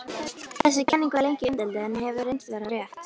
Þessi kenning var lengi umdeild en hefur reynst vera rétt.